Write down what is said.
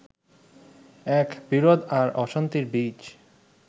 এক বিরোধ আর অশান্তির বীজ